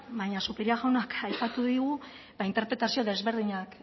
baina zupiria jaunak aipatu digu interpretazio ezberdinak